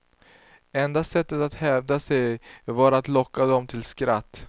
Enda sättet att hävda sig, var att locka dem till skratt.